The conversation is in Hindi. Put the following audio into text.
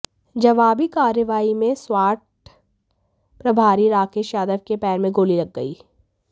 जवाबी कार्रवाई में स्वाट प्रभारी राकेश यादव के पैर में गोली लग गई